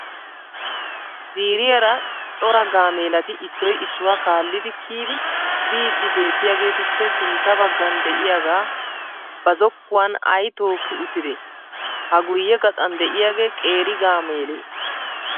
Ziiriyaara cora gaamelati issoy issuwa kaallidi kiyidi biidi beettiyaageetuppe sintta baggan de'iyaaga ba zokkuwan ay tookki uttide? Ha guyye gaxan de'iyaagee qeeri gaamelee?